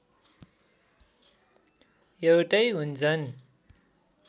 एउटै हुन्छन्